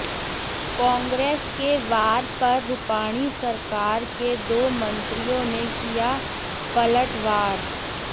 कांग्रेस के वार पर रूपाणी सरकार के दो मंत्रियों ने किया पलटवार